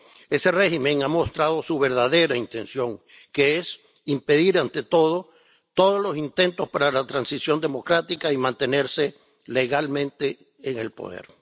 Ese régimen ha mostrado su verdadera intención, que es impedir ante todo todos los intentos para la transición democrática y mantenerse legalmente en el poder.